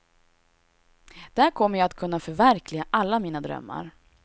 Där kommer jag att kunna förverkliga alla mina drömmar.